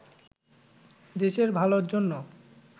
দেশের ভালোর জন্য